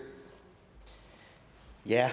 jeg har